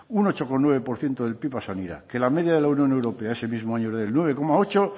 un ocho coma nueve por ciento del pib a sanidad que la media de la unión europea ese mismo año era del nueve coma ocho